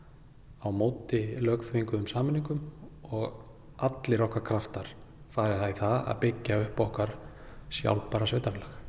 á móti lögþvinguðum sameiningum og allir okkar kraftar fara í það að byggja upp okkar sjálfbæra sveitarfélag